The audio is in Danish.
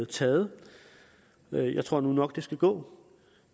taget jeg tror nu nok at det skal gå